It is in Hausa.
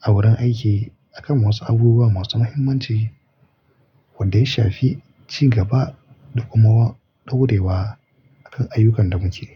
a wurin aiki akan wasu abubuwa masu mahimmanci wanda ya shafi ci gaba da kuma daurewa akan ayyukan da muke yi.